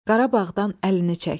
Qarabağdan əlini çək.